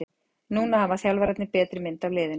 Núna hafa þjálfararnir betri mynd af liðinu.